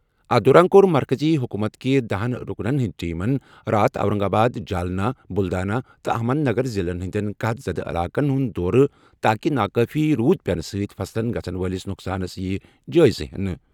اتھ دوران کوٚر مرکٔزی حکوٗمتٕکہِ دہنَ رُکنن ہِنٛدۍ ٹیٖمن راتھ اورنگ آباد، جالنا، بُلدانا تہٕ احمد نگر ضِلعن ہِنٛدین قحط زدٕ علاقن ہُنٛد دورٕ تاکہ ناکٲفی روٗد پینہٕ سۭتۍ فصلن گژھن وٲلِس نۄقصانس یِیہِ جٲیزٕ نِنہٕ ۔